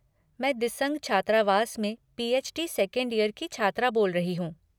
मैं दिसंग छात्रावास में पी.एच.डी. सेकंड यर की छात्रा बोल रही हूँ।